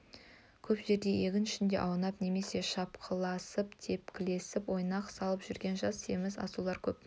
көп жерде егін ішінде аунап немесе шапқыласып тепкілесіп ойнақ салып жүрген жас семіз асаулар көп